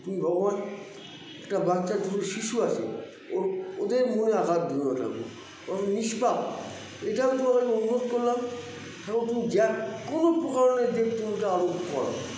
কি ভগবান একটা বাচ্চা দুধের শিশু আছে ওর ওদের মনে আঘাত দিওনা ঠাকুর ওরা নিষ্পাপ এটা আমি তোমাদের মঙ্গল করলাম এবং তুমি য্য কোনো প্রকারেন দিক তুমি আরোগ্য করো